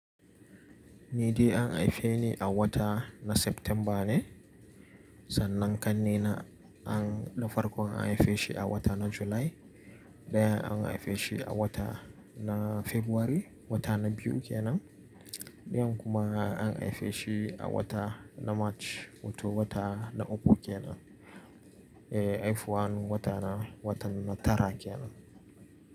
Ni dai an haife ni a wata na September ne, sannan ƙanni na an, na farkon an haife shi a wata na Julai, ɗayan an haife shi a wata na Fabrairu wata na biyu kenan, ɗayan kuma an haife shi a wata na Mac wato wata na uku kenan, eh haifuwan wata na, wata na tara kenan.